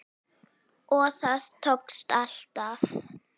Og það tókst alltaf.